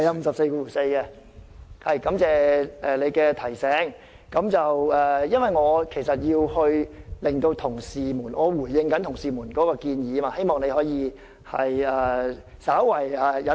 主席，感謝你的提醒，但因為我要回應同事們的建議，希望你可以對我稍為忍耐。